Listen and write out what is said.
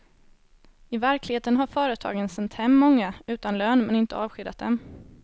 I verkligheten har företagen sänt hem många utan lön men inte avskedat dem.